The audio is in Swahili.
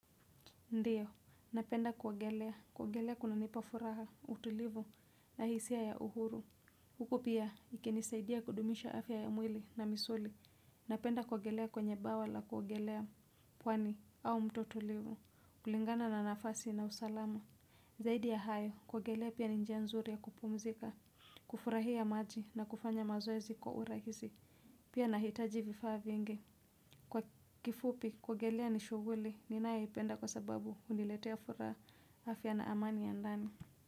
Ndiyo, napenda kuogelea, kuogelea kunanipafuraha, utulivu, na hisia ya uhuru. Huko pia, ikinisaidia kudumisha afya ya mwili na misuli. Napenda kuogelea kwenye bwawa la kuogelea, pwani, au mto tutulivu, kulingana na nafasi na usalama. Zaidi ya hayo, kuogelea pia ni njia nzuri ya kupumzika, kufurahia maji na kufanya mazoezi kwa urahisi. Pia nahitaji vifaa vyingi. Kwa kifupi, kuogelea ni shuguli, ninaeipenda kwa sababu uniletea furaha afya na amani ya ndani.